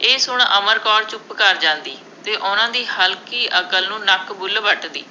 ਇਹ ਸੁਣ ਅਮਰ ਕੌਰ ਚੁੱਪ ਕਰ ਜਾਂਦੀ ਅਤੇ ਉਹਨਾ ਦੀ ਹਲਕੀ ਅਕਲ ਨੂੰ ਨੱਕ ਬੁੱਲ੍ਹ ਵੱਟਦੀ।